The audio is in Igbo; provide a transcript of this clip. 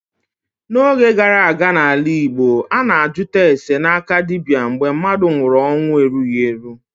N'oge gara aga n'ala Igbo, a na-ajụta ase n'aka dibịa mgbe mmadụ nwụrụ ọnwụ erughị eru.